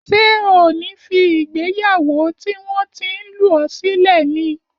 Ṣé o ní fí ìgbéyàwó tí wọn tin lù ọ sílẹ ní?